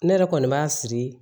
Ne yɛrɛ kɔni b'a siri